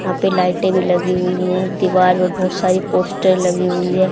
यहा पे लाइटिंग लगी हुई है दीवालो पर बहोत सारी पोस्टर लगी हुई है।